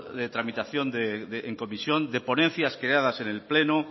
de tramitación en comisión de ponencias creadas en el pleno